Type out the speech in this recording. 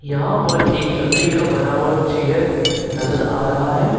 यहां पर एक लकड़ी का बना हुआ चेयर नजर आ रहा है।